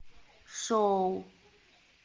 шоу